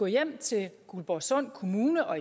hjem til guldborgsund kommune og